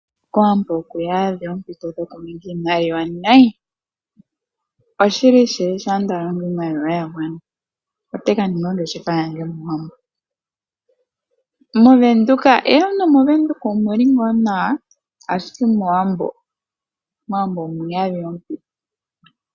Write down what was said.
KOwambo oku udha oompito dhokuninga iimaliwa nayi. Oshili shili shampa nda longo iimaliwa ya gwana ote ka ninga ongeshefa kOwambo. NomOveduka omu li ngaa nawa, ashike mOwambo omu udha oompito.